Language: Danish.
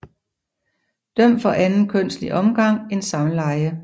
Dømt for anden kønslig omgang end samleje